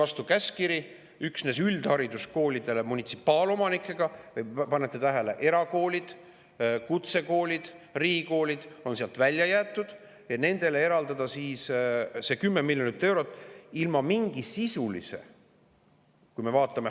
Anti käskkiri, et üksnes munitsipaalomanikega üldhariduskoolidele – pange tähele, erakoolid, kutsekoolid, riigikoolid on sealt välja jäetud – eraldada see 10 miljonit eurot ilma mingi sisulise jagamisvalemita.